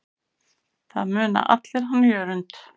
Það muna allir hann Jörund.